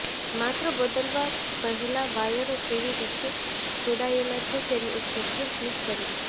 માત્ર બદલવા પહેલા વાયરો કેવી કેવી રીતે જોડાયેલા છે તેની એક તસવીર ક્લીક કરી લો